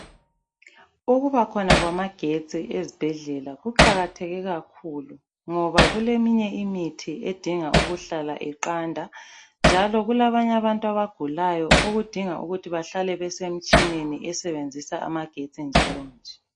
Ukubakhona khona kwamagetsi ezibhedlela kuqakatheke kakhulu ngoba kuleminye imithi edinga ukuhlala iqanda njalo kulabanye abantu abagulayo okudinga ukuthi bahlale besemtshineni njalonje.